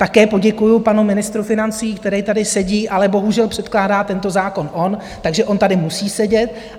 Také poděkuji panu ministru financí, který tady sedí, ale bohužel předkládá tento zákon on, takže on tady musí sedět.